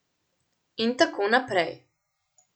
In tako naprej.